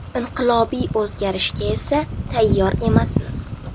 Inqilobiy o‘zgarishga esa tayyor emasmiz.